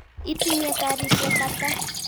Itinye karisyek ata?